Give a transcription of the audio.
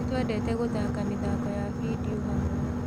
Nĩtwendete gũthaka mĩthako ya bindio hamwe